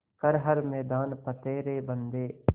कर हर मैदान फ़तेह रे बंदेया